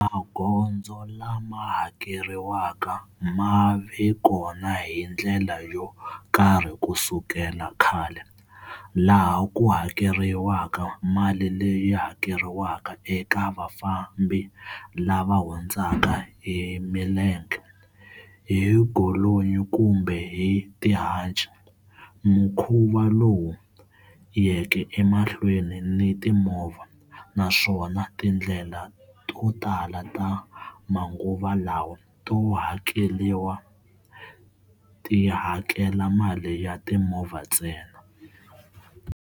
Magondzo lama hakeriwaka ma ve kona hi ndlela yo karhi ku sukela khale, laha ku hakeriwaka mali leyi hakeriwaka eka vafambi lava hundzaka hi milenge, hi golonyi kumbe hi tihanci, mukhuva lowu yeke emahlweni ni timovha, naswona tindlela to tala ta manguva lawa to hakela tihakela mali ya timovha ntsena.